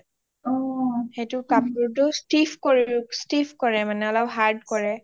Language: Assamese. সেইটোৰ কাপোৰটো stiff কৰে মানে অলপ hard কৰে